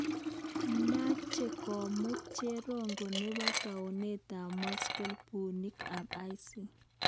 Meche komuut cherongo nebo tounit ab Mosul buunik ab IS